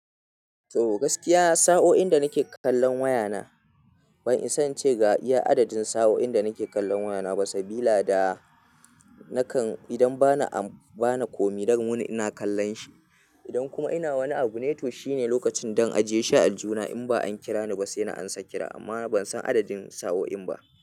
To gaskiya sa'o'in da nake kallan wayana, ban isa na ce ga iya adadin sa'o'in da nake kallan wayana ba sabila da nakan idan bana komi dan wuni ina kallan shi. Idan kuma ina wani abun, to shine lokacin dan ajiye shi a aljuhuna. In ba an kira ni ba sai na amsa kira amma ban san adadin sa'o'in ba.